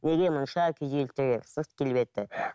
неге мұнша күйзелтті сырт келбеті